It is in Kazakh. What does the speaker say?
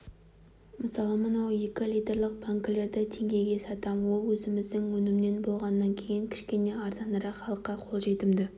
мысалы мынау екі литрлік банкілерді теңгеге сатам ол өзіміздің өнімнен болғаннан кейін кішкене арзанырақ халыққа қолжетімді